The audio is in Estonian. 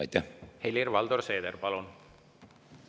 Helir-Valdor Seeder, palun!